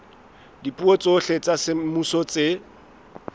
dipuo tsohle tsa semmuso tse